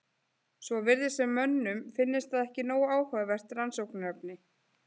Svo virðist sem mönnum finnist það ekki nógu áhugavert rannsóknarefni.